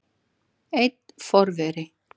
Einn forveri